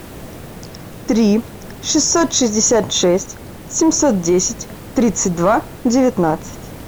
три шестьсот шестьдесят шесть семьсот десять тридцать два девятнадцать